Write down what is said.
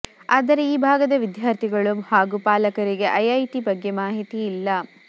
ಆದರೆ ಈ ಭಾಗದ ವಿದ್ಯಾರ್ಥಿಗಳು ಹಾಗೂ ಪಾಲಕರಿಗೆ ಐಐಟಿ ಬಗ್ಗೆ ಮಾಹಿತಿ ಇಲ್ಲ